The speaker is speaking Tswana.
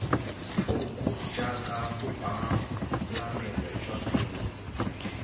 thoko jaaka bopalamelo jwa bese